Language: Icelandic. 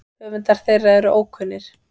Höfundar þeirra allra eru ókunnir.